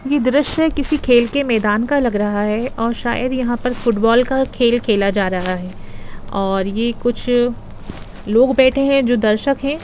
यह द्रश्य किसी खेल के मैदान का लग रहा है और यहा पर शायद फुटबॉल का खेल खेला जा रहा है और यह कुछ लोग बैठे है जो दर्शक है।